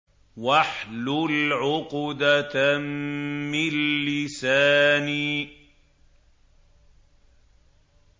وَاحْلُلْ عُقْدَةً مِّن لِّسَانِي